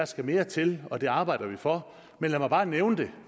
skal mere til og det arbejder vi for men lad mig bare nævne det